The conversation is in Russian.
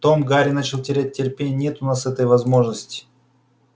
том гарри начал терять терпение нет у нас этой возможности